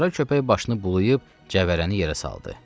Qara köpək başını bulayıb cəvərəni yerə saldı.